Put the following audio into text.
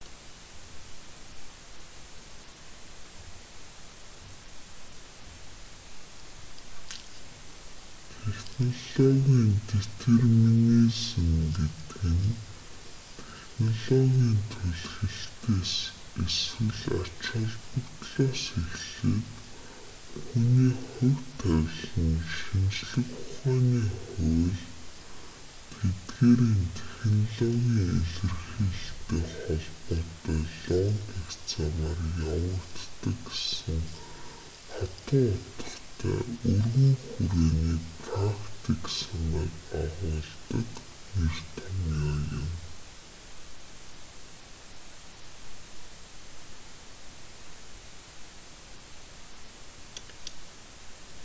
технологийн детерминизм гэдэг нь технологийн түлхэлтээс эсвэл ач холбогдлоос эхлээд хүний ​​хувь тавилан нь шинжлэх ухааны хууль тэдгээрийн технологийн илэрхийлэлтэй холбоотой логик замаар явагддаг гэсэн хатуу утгатай өргөн хүрээний практик санааг агуулдаг нэр томьёо юм